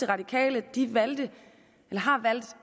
radikale har valgt